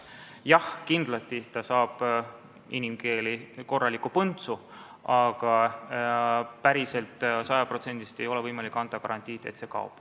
Jah, kindlasti ta saab, inimkeeli öeldes, korraliku põntsu, aga ei ole võimalik anda sajaprotsendilist garantiid, et ta kaob.